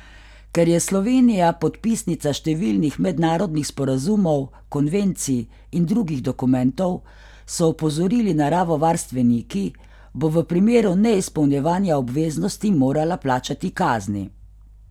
Ker je Slovenija podpisnica številnih mednarodnih sporazumov, konvencij in drugih dokumentov, so opozorili naravovarstveniki, bo v primeru neizpolnjevanja obveznosti morala plačati kazni.